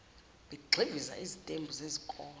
begxiviza izitembu zezikole